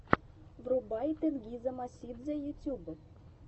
врубай тенгиза мосидзе ютьюб